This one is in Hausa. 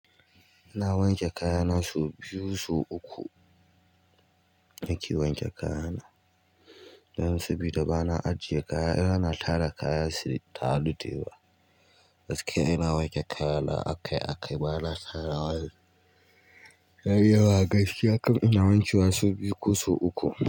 Ina wanke kaya na so biyu so uku. Na ke wanke kaya na, dan sabida ba na ajiye kaya yana tara kaya su yi taru dayawa. Gaskiya ina wanke kaya na a kai a kai ba na tara wa. Ya yi yawa gaskiya kam ina wankewa so biyu ko su uku.